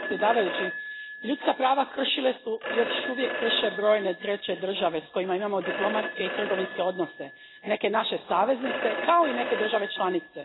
Gospodine predsjedavajući, ljudska prava kršile su i još uvijek krše brojne treće države s kojima imamo diplomatske i trgovinske odnose, neke naše saveznice, kao i neke države članice.